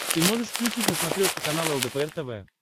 ты можешь включить на смотрешке канал лдпр тв